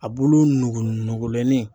A bulu nugu numagolɛnnin.